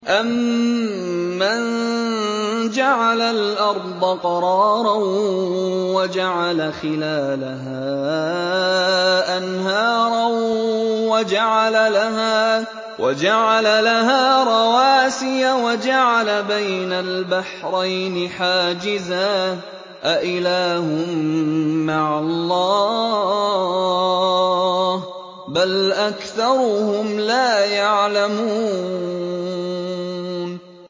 أَمَّن جَعَلَ الْأَرْضَ قَرَارًا وَجَعَلَ خِلَالَهَا أَنْهَارًا وَجَعَلَ لَهَا رَوَاسِيَ وَجَعَلَ بَيْنَ الْبَحْرَيْنِ حَاجِزًا ۗ أَإِلَٰهٌ مَّعَ اللَّهِ ۚ بَلْ أَكْثَرُهُمْ لَا يَعْلَمُونَ